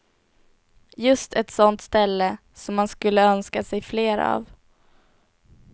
Just ett sånt ställe som man skulle önska sig fler av.